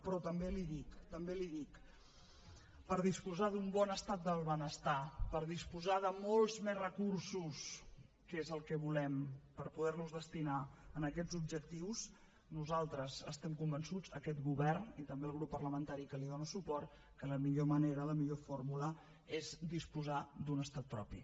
però també l’hi dic també l’hi dic per disposar d’un bon estat del benestar per disposar de molts més recursos que és el que volem per poder los destinar a aquests objectius nosaltres estem convençuts aquest govern i també el grup parlamentari que hi dona suport que la millor manera la millor fórmula és disposar d’un estat propi